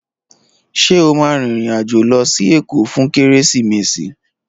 Ṣé o máa rìnrìn-àjò lọ sí Èkó fún Kérésìmesì?